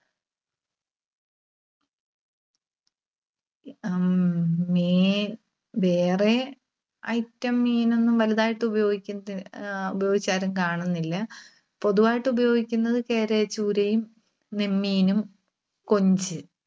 അഹ് ഹും വേറെ item മീനൊന്നും വലുതായിട്ട് ഉപയോഗിച്ചിട്ട്, ആഹ് ഉപയോഗിച്ച് ആരും കാണുന്നില്ല. പൊതുവായിട്ട് ഉപയോഗിക്കുന്നത് കേര, ചൂരയും, നെന്മീനും, കൊഞ്ച്